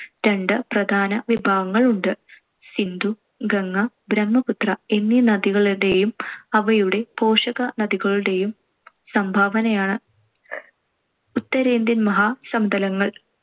രണ്ട് പ്രധാന വിഭാഗങ്ങൾ ഉണ്ട്. സിന്ധു, ഗംഗ, ബ്രഹ്മപുത്ര എന്നീ നദികളുടേയും അവയുടെ പോഷക നദികളൂടേയും സംഭാവനയാണ്‌ ഉത്തരേന്ത്യൻ മഹാസമതലങ്ങൾ.